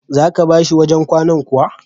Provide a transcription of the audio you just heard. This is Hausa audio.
Za ka ba shi wajen kwanan kuwa?